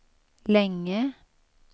länge